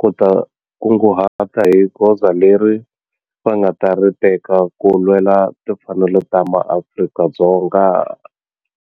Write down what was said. ku ta kunguhata hi goza leri va nga ta ri teka ku lwela timfanelo ta maAfrika-Dzonga.